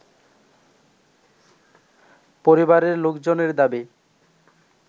পরিবারের লোকজনের দাবি